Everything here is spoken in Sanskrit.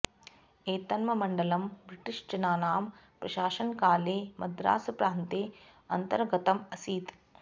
एतन्मण्डलं ब्रिटिश् जनानां प्रशासनकाले मद्रास् प्रान्ते अन्तर्गतम् असीत्